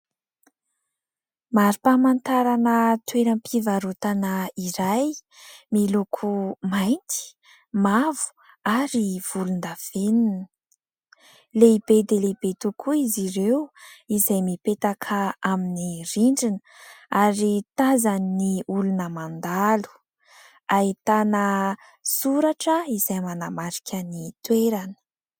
Mari-pamantarana toeram-pivarotana iray miloko mainty mavo ary volondavenona. Lehibe dia lehibe tokoa izy ireo izay mipetaka amin'ny rindrina ary tazan'ny olona mandalo. Ahitana soratra izay manamarika ny toerana.